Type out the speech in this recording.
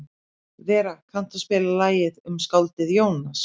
Vera, kanntu að spila lagið „Um skáldið Jónas“?